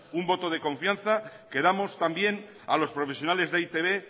un voto de confianza que damos también a los profesionales de e i te be